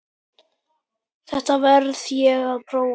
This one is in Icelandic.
Þetta verð ég að prófa